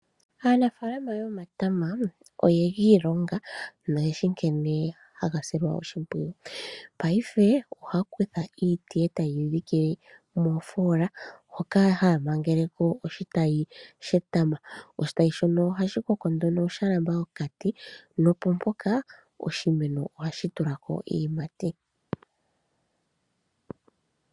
Aanafaalama yomatama oye gi ilonga noyeshi nkene haga silwa oshinpwiyu. Paife ohaya kutha iiti etaye yi dhike moofola hoka haya magele ko ositayi shetama. Oshitayi shono ohashi koko nduno sha lamba okati nopo mpoka, noshimeno ohashi tulako iiyimati.